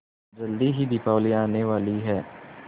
जल्दी ही दीपावली आने वाली है